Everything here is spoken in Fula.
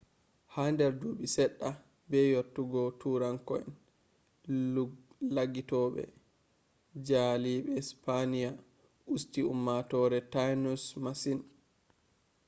hader dubi sedda be yottogo tuuranko'en laggitobe jaalibe sipaniya usti ummatore tainos masin